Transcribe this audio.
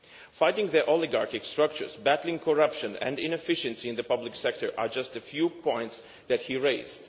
Fighting the oligarchic structures, battling corruption and addressing inefficiency in the public sector are just a few of the points that he raised.